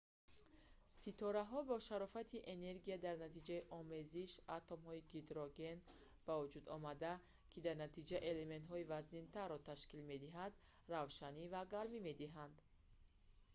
ситораҳо ба шарофати энергияи дар натиҷаи омезиши ё ҳамроҳшавии атомҳои гидроген ба вуҷудомада ки дар натиҷа элементҳои вазнинтарро ташкил медиҳанд равшанӣ ва гармӣ медиҳанд